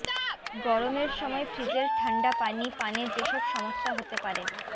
গরমের সময় ফ্রিজের ঠান্ডা পানি পানে যেসব সমস্যা হতে পারে